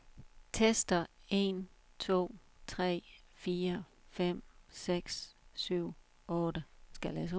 Tester en to tre fire fem seks syv otte.